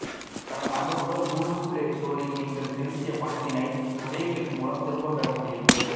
கடந்த ஆண்டு முதல் கூகுள் ப்ளே ஸ்டோரில் நீங்கள் செலுத்திய பணத்தினை ஒரே க்ளிக் மூலம் திரும்ப பெற முடியும்